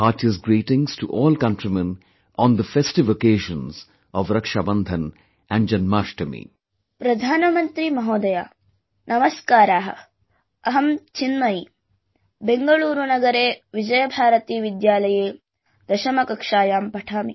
Heartiest greetings to all countrymen on the festive occasions of Rakshabandhanand Janmashtami